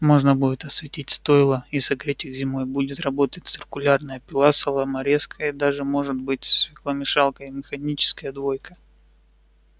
можно будет осветить стойла и согреть их зимой будет работать циркулярная пила соломорезка и даже может быть свекломешалка и механическая двойка